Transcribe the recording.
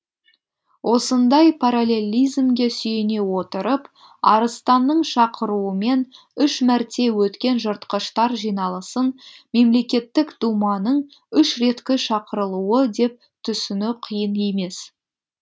осындай параллелизмге сүйене отырып арыстанның шақыруымен үш мәрте өткен жыртқыштар жиналысын мемлекеттік думаның үш реткі шақырылуы деп түсіну қиын емес